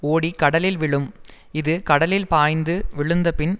ஓடி கடலில் விழும் இது கடலில் பாய்ந்து விழுந்தபின்